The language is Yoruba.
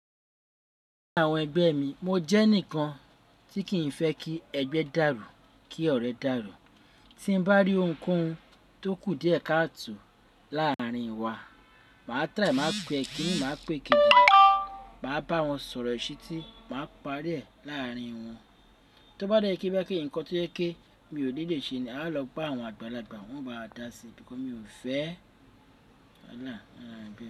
Ní àwọn ẹgbẹ́ mi, mo jẹ́ ǹikan tí kì í fẹ́ kí ẹgbẹ́ dàrú, kí ọ̀rẹ́ dàrú. Tín bá rí ohunkóhun tó kù díẹ̀ káàto láàárín wa, màá try, màá pe kíní, màá pèkeji, màá bá wọn sọ̀rọ̀ iṣi tí màá pàrí rẹ̀ láàárín wọn. Tí ó bá dẹ́ jẹ́ ǹkan tí o je pe mi ò ni lè ṣe, a lọ bá àwọn àgbàlagbà wọ́n bá dáa si nítorí mi ò fẹ́